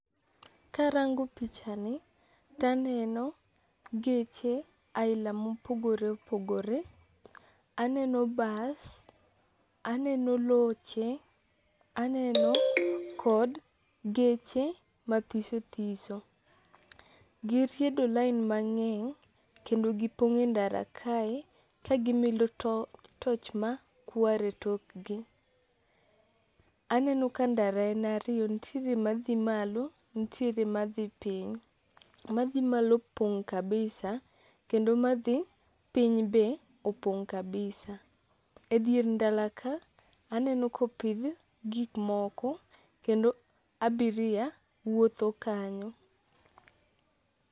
Karango pichani taneno geche aila mopogore opogore. Aneno bas, aneno loche, aneno kod geche mathisothiso. Giriedo lain mang'eng' kendo gipong' e ndara kae kagimilo toch makwar e tokgi. Aneno ka ndara en ariyo ntiere madhi malo ntiere madhi piny. Madhi malo opong' kabisa kendo madhi piny be opong' kabisa. E dier ndara ka aneno kopidh gikmoko kendo abiria wuotho kanyo.